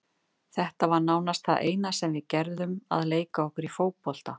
Þetta var nánast það eina sem við gerðum, að leika okkur í fótbolta.